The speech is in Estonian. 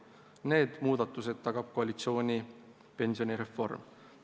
Need muudatused tagab koalitsiooni pensionireform.